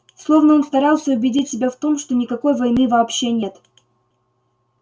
словно он старался убедить себя в том что никакой войны вообще нет